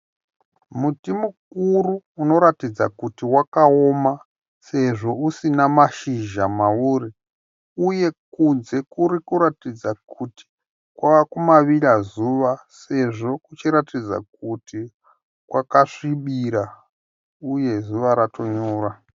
Muti mukuru unoratidza kuti wakaoma sezvo usina mashizha mauri uye kunze kuri kuratidza kuti kwavekumavira zuva sezvo kuchiratidza kuti kwakasvibira uye zuva ratonyura.